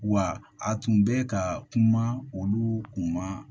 Wa a tun bɛ ka kuma olu kun ma